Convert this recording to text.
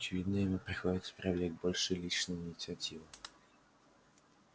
очевидно ему приходится проявлять больше личной инициативы